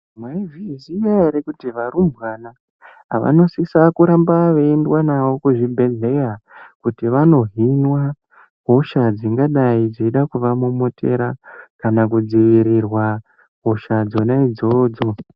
Mwaizviziya ere kuti varumbwana vanosisa kuramba veiendwa navo kuzvibhedhleya Kuti vanohinwa hosha dzingadai dzeida kuvamomotera kana kudzivirirwa hosha dzona idzodzo.